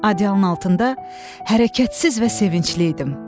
Adialın altında hərəkətsiz və sevincli idim.